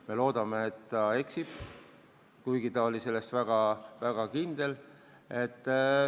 Me loodame, et ta eksib, kuigi ta oli selles väga kindel.